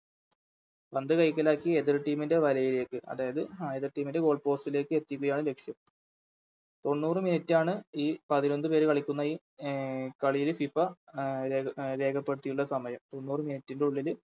പന്ത് കൈക്കലാക്കി എതിർ Team ൻറെ വലയിലേക്ക് അതായത് എതിർ Team ൻറെ Goal post ലേക്ക് എത്തിക്കുകയാണ് ലക്ഷ്യം തൊണ്ണൂറ് Minute ആണ് ഈ പതിനൊന്ന് പേര് കളിക്കുന്നയി അഹ് കളിയില് FIFA രേഖപ്പെടുത്തിയുള്ള സമയം തൊണ്ണൂറ് Minute ൻറെ ഉള്ളില്